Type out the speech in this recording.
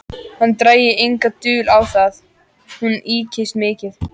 Hann drægi enga dul á það: hún ykist mikið.